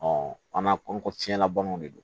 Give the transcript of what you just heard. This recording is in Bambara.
an ka ko fiɲɛlabanaw de don